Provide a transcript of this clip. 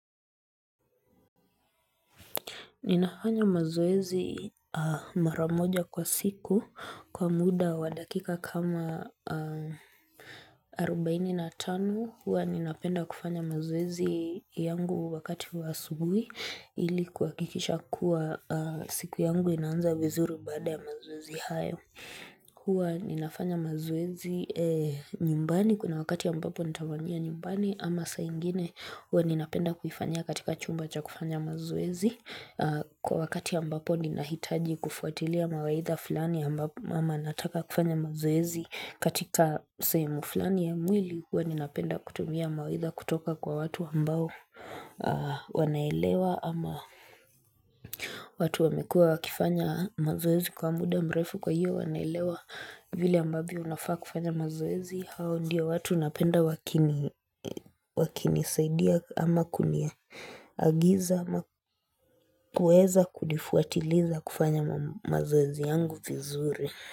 Ninafanya mazoezi mara moja kwa siku kwa muda wa dakika kama 45 hua ninapenda kufanya mazoezi yangu wakati wa asubuhi ili kuhakikisha kuwa siku yangu inaanza vizuri baada ya mazoezi hayo. Huwa ninafanya mazoezi nyumbani kuna wakati ambapo nitafanyia nyumbani ama saa ingine huwa ninapenda kufanyia katika chumba cha kufanya mazoezi kwa wakati ambapo ninahitaji kufuatilia mawaidha fulani ama nataka kufanya mazoezi katika sehemu fulani ya mwili. Huwa ninapenda kutumia mawaidha kutoka kwa watu ambao wanaelewa ama watu wamekua wakifanya mazoezi kwa muda mrefu kwa hiyo wanaelewa vile ambavyo unafaa kufanya mazoezi hao ndio watu napenda wakini wakinisaidia ama kunia agiza ama kuweza kunifuatiliza kufanya mazoezi yangu vizuri.